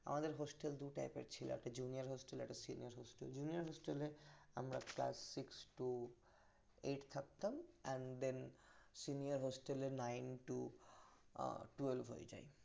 আমাদের hostel দু type এর ছিল একটা junior hostel একটা senior hostel junior hostel এ আমরা class six to eight থাকতাম and then senior hostel এ nine to twelve হয়ে যাই